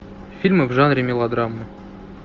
фильмы в жанре мелодрамы